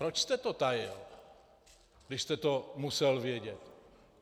Proč jste to tajil, když jste to musel vědět?